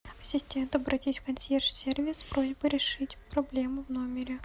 ассистент обратись в консьерж сервис с просьбой решить проблему в номере